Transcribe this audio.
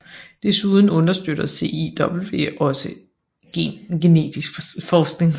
Desuden understøtter CIW også genetisk forskning